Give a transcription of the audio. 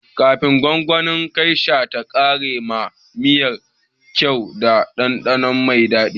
Kifin gwangwanin geisha ta kara ma miyar kyau da ɗanɗano mai daɗi.